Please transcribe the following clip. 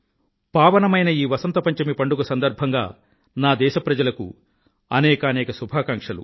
పావనమైన ఈ వసంత పంచమి పండుగ సందర్భంగా నా దేశ ప్రజలకు అనేకానేక శుభాకాంక్షలు